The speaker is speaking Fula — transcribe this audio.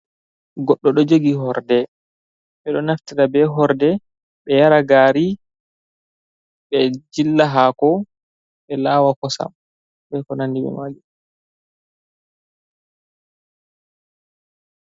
Goɗɗo ɗo jogi horde. Ɓe ɗo naftira be horde ɓe yara gari, ɓe jilla hako, ɓe lawa kosam, be ko nandi be mai.